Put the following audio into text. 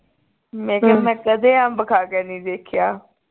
ਮੈਂ ਕਿਹਾ ਮੈਂ ਕਦੇ ਅੰਬ ਖਾ ਕੇ ਨਹੀਂ ਦੇਖਿਆ